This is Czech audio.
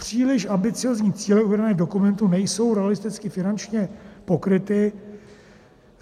Příliš ambiciózní cíle uvedené v dokumentu nejsou realisticky finančně pokryty.